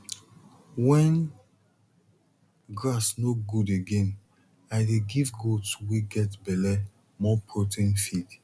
when grass no good again i dey give goat wey get belle more protein feed